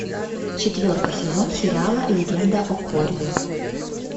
четвертый сезон сериала легенда о корре